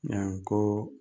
Jan ko